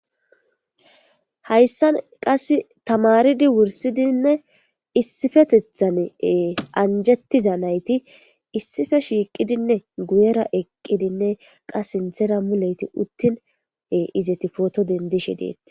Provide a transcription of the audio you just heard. haysan qase tamaridi wursidine isipetethani anjetidaysa nayti isipe shiqidi Guyana eqidine qase sinthera eqidi photo dendishe detes